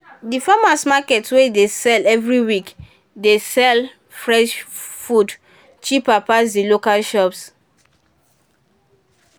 the farmers’ market wey dey sell every week dey sell fresh food cheaper pass the local shop.